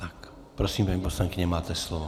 Tak prosím, paní poslankyně, máte slovo.